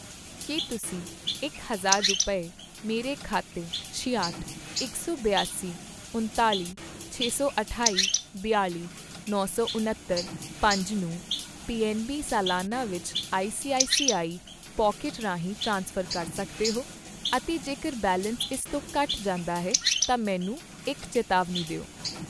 ਕੀ ਤੁਸੀਂਂ ਇਕ ਹਜ਼ਾਰ ਰੁਪਏ, ਮੇਰੇ ਖਾਤੇ ਛਿਆਹਠ, ਇਕ ਸੌ ਬਿਆਸੀ, ਉਨਤਾਲੀ, ਛੇ ਸੌ ਅਠਾਈ, ਬਿਆਲ਼ੀ, ਨੋ ਸੌ ਉਣੱਤਰ, ਪੰਜ ਨੂੰ ਪੀਐੱਨਬੀ ਸਲਾਨਾ ਵਿੱਚ ਆਈਸੀਆਈਸੀਆਈ ਪੌਕਿਟ ਰਾਹੀਂ ਟ੍ਰਾਂਸਫਰ ਕਰ ਸਕਦੇ ਹੋ? ਅਤੇ ਜੇਕਰ ਬੈਲੇਂਸ ਇਸ ਤੋਂ ਘੱਟ ਜਾਂਦਾ ਹੈ ਤਾਂ ਮੈਨੂੰ ਇੱਕ ਚੇਤਾਵਨੀ ਦਿਓ?